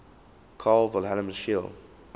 carl wilhelm scheele